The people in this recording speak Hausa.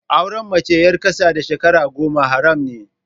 Auren mace ƴar ƙasa da shekara goma haram ne